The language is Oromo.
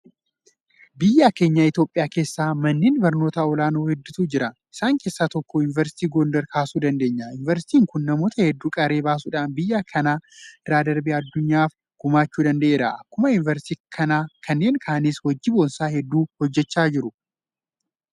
Biyya keenya Itoophiyaa keessa manneen barnootaa olaanoo hedduutu jira. Isaan keessaa tokko Yuunivarsiitii Goondar kaasuu dandeenya. Yuunivarsiitiin kun namoota hedduu qaree baasuudhaan biyya kana irra darbee addunyaadhaaf gumaachuu danda'eera. Akkuma Yuunivarsiitii kanaa kanneen kaanis hojii boonsaa hedduu hojjechaa jiru.